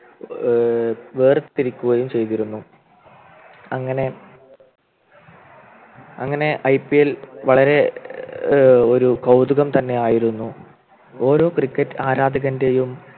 ഏർ വേർതിരിക്കുകയും ചെയ്തിരുന്നു അങ്ങനെ അങ്ങനെ IPL വളരെ ഒരു കൗതുകം തന്നെയായിരുന്നു ഓരോ Cricket ആരാധകൻ്റെയും